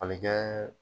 A bɛ kɛ